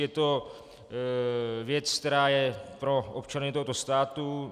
Je to věc, která je pro občany tohoto státu.